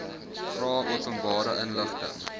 vra openbare inligting